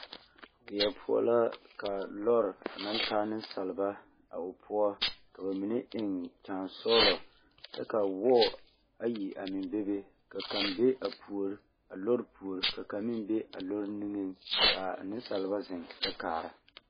Weɛ poɔ la ka lɔre naŋ taa nensaleba ka ba mine naŋ eŋ nimikyaanesɔɔlɔ kyɛ ka wɔɔ ayi a meŋ bebe ka kaŋ be a puori a lɔre puori ka kaŋ meŋ be a lɔre niŋeŋ ka a nensaleba zeŋ kyɛ kaara.